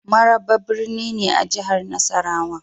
Maraba birni ne a jihar Nasarawa.